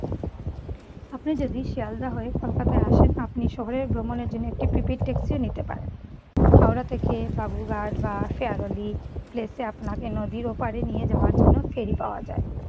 আপনি যদি শেয়ালদাহ হয়ে কলকাতায় আসেন, আপনি হলে ভ্রমণের জন্য একটি প্রিপেইড ট্যাক্সিও নিতে পারেন। হাওড়া থেকে বাবুঘাট বা শেয়াগলি প্লেতে আপনাকে নদীর ওপারে নিয়ে যাওয়ার জন্য ফেরী পাওয়া যায়।